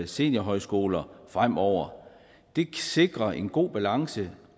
seniorhøjskoler fremover det sikrer en god balance